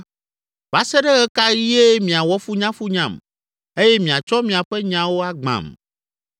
“Va se ɖe ɣe ka ɣie miawɔ funyafunyam eye miatsɔ miaƒe nyawo agbãm?